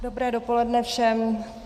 Dobré dopoledne všem.